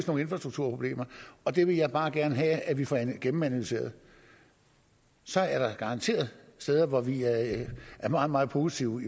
nogle infrastrukturproblemer og det vil jeg bare gerne have vi får gennemanalyseret så er der garanteret steder hvor vi er meget meget positive